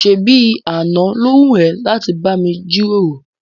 ṣébi àná ló wù ẹ́ láti bá mi jíròrò?